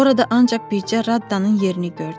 Orada ancaq bircə Raddanın yerini gördüm.